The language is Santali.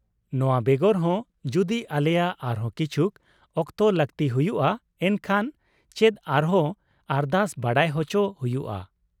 -ᱱᱚᱶᱟᱵᱮᱜᱚᱨ ᱦᱚᱸ , ᱡᱩᱫᱤ ᱟᱞᱮᱭᱟᱜ ᱟᱨᱦᱚᱸ ᱠᱤᱪᱷᱩᱠ ᱚᱠᱛᱚ ᱞᱟᱹᱠᱛᱤ ᱦᱩᱭᱩᱜᱼᱟ ᱮᱱᱠᱷᱟᱱ ᱪᱮᱫ ᱟᱨᱦᱚᱸ ᱟᱨᱫᱟᱥ ᱵᱟᱰᱟᱭ ᱦᱚᱪᱚ ᱦᱩᱭᱩᱜᱼᱟ ?